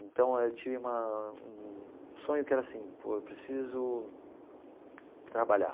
Então eu tive uma um um sonho que era assim, pô eu preciso trabalhar.